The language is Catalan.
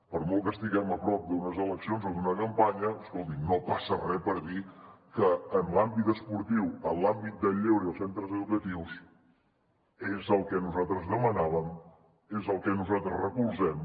per molt que estiguem a prop d’unes eleccions o d’una campanya escoltin no passa re per dir que en l’àmbit esportiu en l’àmbit del lleure i els centres educatius és el que nosaltres demanàvem és el que nosaltres recolzem